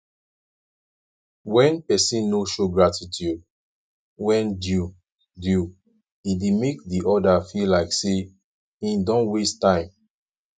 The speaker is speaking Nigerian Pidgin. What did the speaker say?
when persin no show gratitude when due due e de make di other feel like say im don waste time